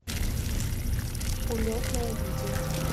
улетное видео